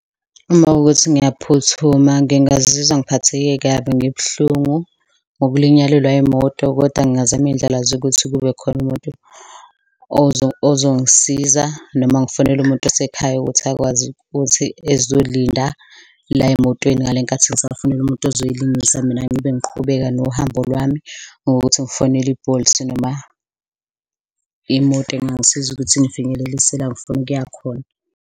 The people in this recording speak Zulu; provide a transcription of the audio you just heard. Uma kuwukuthi ngiyaphuthuma, ngingazizwa ngiphatheke kabi, ngibuhlungu ngokulinyalelwa yimoto kodwa ngingazama iyindlela zokuthi kube khona umuntu ozongisiza noma ngifonele umuntu osekhaya ukuthi akwazi ukuthi ezolinda la emotweni ngale nkathi ngisafonela umuntu ozoyilungisa, mina ngibe ngiqhubeka nohambo lwami ngokuthi ngifonele i-Bolt noma imoto engangisiza ukuthi ingifinyelelise la ngifuna ukuya khona.